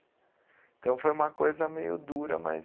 Então foi uma coisa meio dura, mas